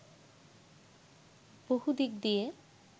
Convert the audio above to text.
বহু দিক দিয়ে